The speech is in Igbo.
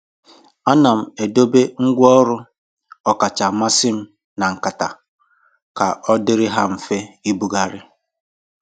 Ana m edobe ngwa ọrụ ọkacha mmasị m na nkata ka ọ dịrị ha mfe ibugharị.